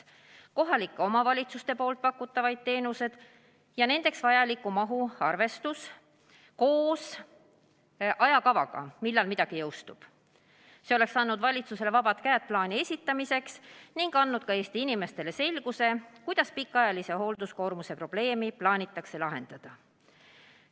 Kohalike omavalitsuste pakutavaid teenused ja nendeks vajaliku mahu arvestus koos ajakavaga, millal midagi jõustub, oleks andnud valitsusele vabad käed plaani esitamiseks ning ka Eesti inimestele selguse, kuidas pikaajalise hoolduskoormuse probleemi plaanitakse lahendada.